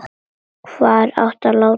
Hvar á að láta hann?